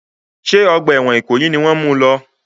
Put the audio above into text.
Ṣé ọgbà ẹ̀wọ̀n ìkòyí ni wọ́n mu lọ?